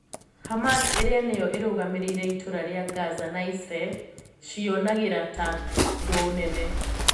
Hamas iria niyo irũgamiriire itũra ria Gaza na Israel ciyonagira ta thũũ nene.